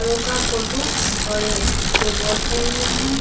का फोटू और ये दो बोर्ड खड़े हुए हैं।